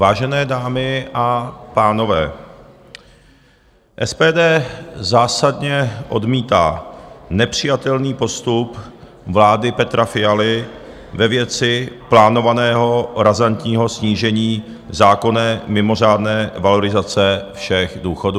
Vážené dámy a pánové, SPD zásadně odmítá nepřijatelný postup vlády Petra Fialy ve věci plánovaného razantního snížení zákonné mimořádné valorizace všech důchodů.